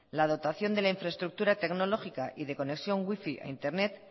la dotación de la infraestructura tecnológica y de conexión wifi a internet